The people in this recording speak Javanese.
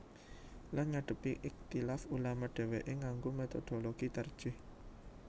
Lan ngadhepi ikhtilaf ulama dhèwèké nganggo métodologi tarjih